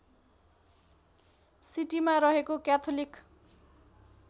सिटीमा रहेको क्याथोलिक